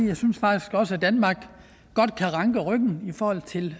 vi synes faktisk også at danmark kan ranke ryggen i forhold til